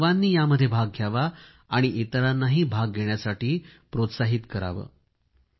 आपण सर्वांनी यामध्ये भाग घ्यावा आणि इतरांना भाग घेण्यासाठी प्रोत्साहन द्यावे